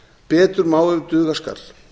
betur má ef duga skal